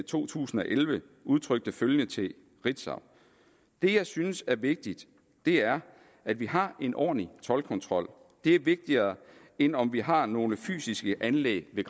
to tusind og elleve udtrykte følgende til ritzau det jeg synes er vigtigt er at vi har en ordentlig toldkontrol det er vigtigere end om vi har nogle fysiske anlæg ved